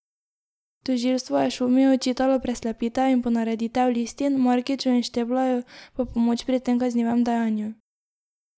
Tožilstvo je Šumiju očitalo preslepitev in ponareditev listin, Markiču in Šteblaju pa pomoči pri tem kaznivem dejanju.